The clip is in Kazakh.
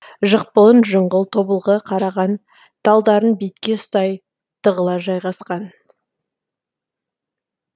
жықпылын жыңғыл тобылғы қараған талдарын бетке ұстай тығыла жайғасқан